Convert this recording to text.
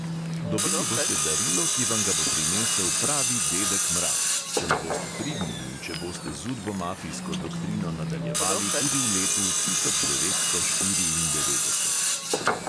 Dobili boste darilo, ki vam ga bo prinesel pravi dedek mraz, če ne boste pridni in če boste z udbomafijsko doktrino nadaljevali tudi v letu tisoč devetsto štiriindevetdeset.